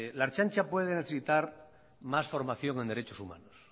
la ertzaintza puede necesitar más formación en derechos humanos